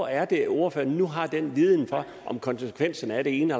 er det ordføreren nu har den viden om konsekvenserne af det ene